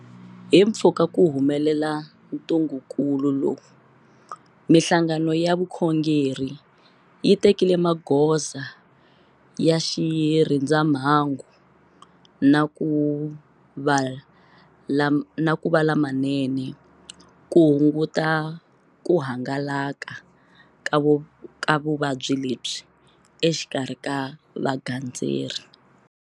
Himpfhuka ku humelela ntungukulu lowu, mihlangano ya vukhongeri yi tekile magoza ya xirindzamhangu na ku va lamanene ku hunguta ku hangalaka ka vuvabyi lebyi exikarhi ka vagandzeri.